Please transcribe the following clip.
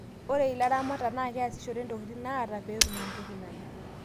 ore ilaramata naa keyasishore intokitin naata pee etum entoi nanya